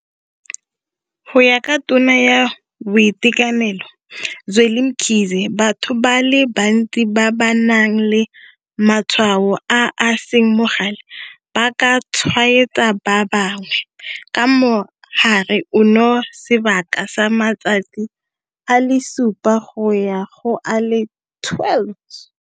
Go ya ka Tona ya Boitekanelo Zweli Mkhize, batho ba le bantsi ba ba nang le matshwao a a seng bogale ba ka tshwaetsa ba bangwe ka mogare ono sebaka sa matsatsi a le supa go ya go a le 12.